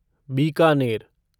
Bikaner